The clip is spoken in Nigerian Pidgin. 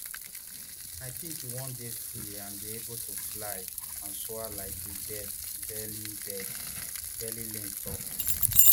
i think e wan dey free and dey able to fly and soar like a bird beverly bird beverly lane tok